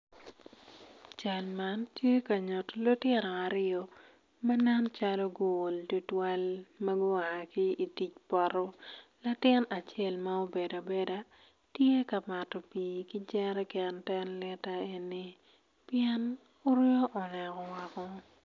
Cal man tye ka nyuyo lutino aryo ma nen calo guol tutwal ma gua ki tic poto latin acel ma obedo abeda tye ka mato pi ki jereken ten lita eni pien oryo onongo oneko.